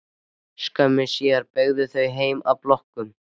Skömmu síðar beygðu þau heim að blokkinni.